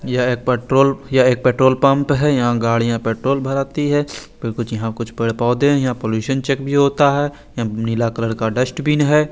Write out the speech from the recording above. यहाँ एक पेट्रोल यहाँ एक पेट्रोल पम्प है यहाँ गाड़ीयाँ पेट्रोल भराती है पर कुछ यहाँ कुछ पैर पौधे है यहाँ पॉलुशन चेक भी होता है यहाँ नीला कलर का डस्टबिन है।